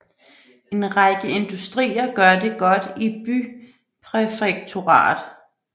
En række industrier gør det godt i bypræfekturet